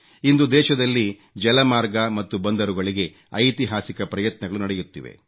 ಇಂದು ದೇಶದಲ್ಲಿ ಜಲಮಾರ್ಗ ಮತ್ತು ಬಂದರುಗಳಿಗೆ ಐತಿಹಾಸಿಕ ಪ್ರಯತ್ನಗಳು ನಡೆಯುತ್ತಿವೆ